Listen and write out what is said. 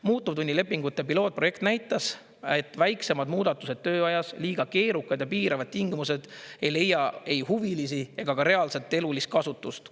Muutuvtunnilepingute pilootprojekt näitas, et väiksemad muudatused tööajas, liiga keerukad ja piiravad tingimused ei leia ei huvilisi ega ka reaalset elulist kasutust.